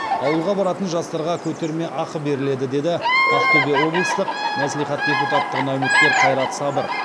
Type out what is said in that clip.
ауылға баратын жастарға көтермеақы беріледі деді ақтөбе облыстық мәслихат депутаттығына үміткер қайрат сабыр